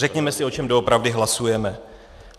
Řekněme si, o čem doopravdy hlasujeme.